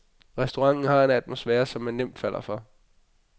Restauranten har en atmosfære, som man nemt falder for.